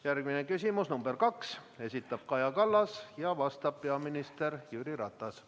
Järgmine küsimus, nr 2, esitab Kaja Kallas ja vastab peaminister Jüri Ratas.